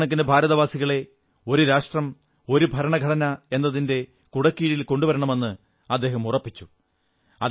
കോടിക്കണക്കിന് ഭാരതവാസികളെ ഒരു രാഷ്ട്രം ഒരു ഭരണഘടന എന്നതിന്റെ കുടക്കീഴിൽ കൊണ്ടുവരണമെന്ന് അദ്ദേഹം ഉറപ്പിച്ചു